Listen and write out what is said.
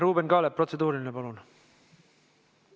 Ruuben Kaalep, protseduuriline, palun!